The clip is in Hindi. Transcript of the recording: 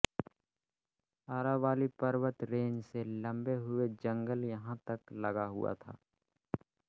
अरावाली पर्वत रेंज से लंबे हुए जंगल यहाँ तक लगा हुआ था